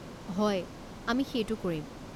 হয়, আমি সেইটো কৰিম।